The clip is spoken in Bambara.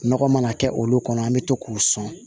Nɔgɔ mana kɛ olu kɔnɔ an be to k'u sɔn